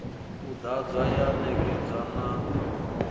u ḓadzwa ya ṋekedzwa na